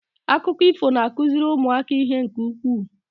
Akụkọ ifo na-akụziri ụmụaka ihe nke ukwuu.